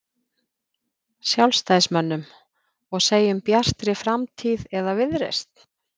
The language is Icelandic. Sjálfstæðismönnum og segjum Bjartri framtíð eða Viðreisn?